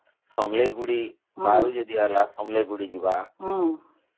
ସମଳେଇକୁ ଟିକେ ଯିବା, ବାହାରୁ ଯିଏ ଆସିଲା ସମଳେଇକୁ ଟିକେ ଦେଖିଯିବା